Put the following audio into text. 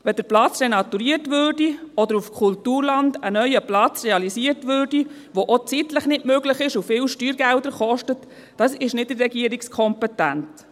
Wenn der Platz renaturiert oder wenn auf Kulturland ein neuer Platz realisiert würde, was zeitlich nicht möglich ist und viele Steuergelder kostet … Dies liegt nicht in der Regierungskompetenz.